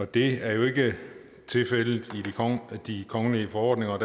det er jo ikke tilfældet i de kongelige forordninger og